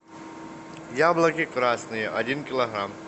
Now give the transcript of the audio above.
яблоки красные один килограмм